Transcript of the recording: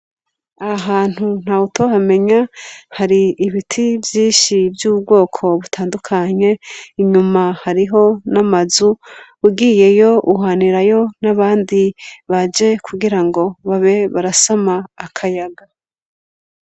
Ahantu nta wutohamenya hari ibiti vyinshi vy'ubwoko butandukanye inyuma hariho n'amazu ugiyeyo uhanirayo n'abandi baje kugira ngo babe barasama akayaga.